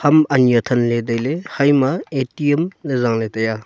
ham ani athanley tailey haima A_T_M ley jaala taiya.